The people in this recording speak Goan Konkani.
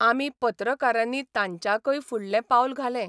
आमी पत्रकारांनी तांच्याकय फुडलें पावल घालें.